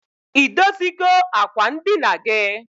I dozigo akwa ndina gi?